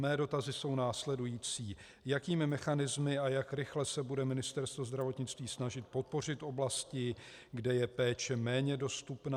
Mé dotazy jsou následující: Jakými mechanismy a jak rychle se bude Ministerstvo zdravotnictví snažit podpořit oblasti, kde je péče méně dostupná?